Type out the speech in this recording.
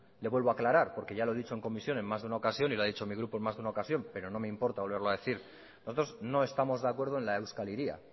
le vuelvo a aclarar porque ya lo he dicho en comisión en más de una ocasión y lo ha dicho mi grupo en más de una ocasión pero no me importa volverlo a decir nosotros no estamos de acuerdo en la euskal hiria